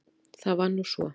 Það var nú svo!